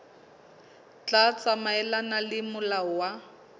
tla tsamaelana le molao wa